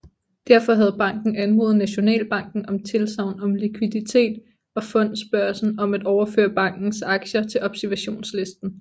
Derfor havde banken anmodet Nationalbanken om tilsagn om likviditet og Fondsbørsen om at overføre bankens aktier til observationslisten